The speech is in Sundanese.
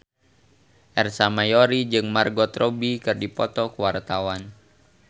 Ersa Mayori jeung Margot Robbie keur dipoto ku wartawan